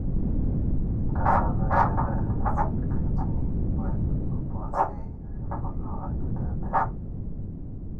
cassava seller still greet me well upon say i follow another persin buy.